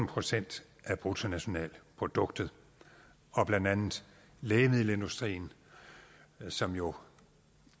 procent af bruttonationalproduktet blandt andet lægemiddelindustrien som jo